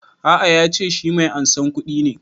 A'a ya ce shi mai ansan kuɗi ne